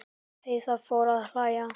Heiða fór að hlæja.